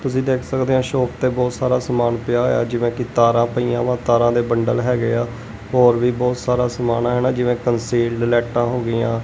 ਤੁਸੀ ਦੇਖ ਸਕਦੇ ਆਂ ਸ਼ੌਪ ਤੇ ਬਹੁਤ ਸਾਰਾ ਸਾਮਾਨ ਪਿਆ ਹੋਇਆ ਜਿਵੇਂ ਕਿ ਤਾਰਾਂ ਪਈਆਂ ਵਾ ਤਾਰਾਂ ਦੇ ਬੰਡਲ ਹੈਗੇ ਆ ਹੋਰ ਵੀ ਬਹੁਤ ਸਾਰਾ ਸਾਮਾਨ ਹੈ ਨਾ ਜਿਵੇਂ ਕੰਸੀਲਡ ਲਾਈਟਾਂ ਹੋ ਗਈਆਂ।